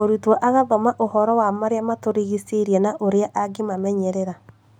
Mũrutwo agathoma ũhoro wa marĩa matũrigicĩirie na ũrĩa angĩmamenyerera